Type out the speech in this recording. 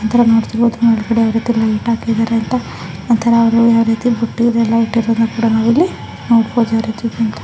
ಒಂತಾರ ನೋಡ್ತಿರ್ಬದು ಮೇಲೆಗಡೆ ಯಾವ ರೀತಿ ಲೈಟ್ ಹಾಕಿದರೆ ಅಂತ ಒಂತಾರ ಬುಟ್ಟಿಯನ್ನ ಎಲ್ಲ ಇಟ್ಟಿರೋದುನ್ನ ಕೂಡ ನಾವು ಇಲ್ಲಿ ನೋಡಬಹುದು.